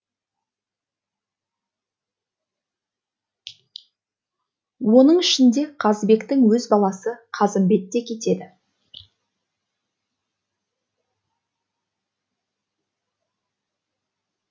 оның ішінде қазыбектің өз баласы қазымбет те кетеді